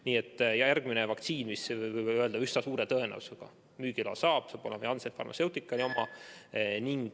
Nii et järgmine vaktsiin, mis üsna suure tõenäosusega müügiloa saab, on Janssen Pharmaceutica oma.